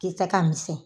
Kisɛ ka misɛn